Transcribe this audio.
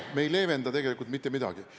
Me ei leevenda tegelikult mitte midagi.